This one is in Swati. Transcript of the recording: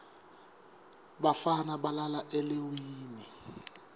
bafana balala eleiwini